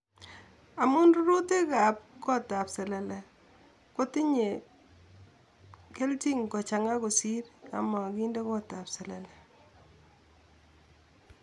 Amun rurutakap kotap selele kotinye kelchin kochang'a kosir yon mokinde kotap selele